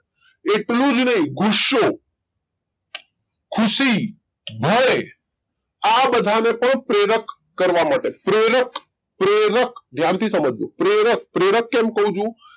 એટલું જ નહિ ગુસ્સો ખુશી ભય આ બધાને પણ પ્રેરક કરવા માટે પ્રેરક પ્રેરક ધ્યાનથી સમજો પ્રેરક પ્રેરક કરવા